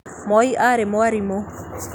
Moi aarĩ mwalimũ